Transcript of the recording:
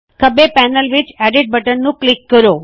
ਖੱਬੇ ਪੈਨਲ ਵਿੱਚ edit button ਨੂੰ ਕਲਿੱਕ ਕਰੋ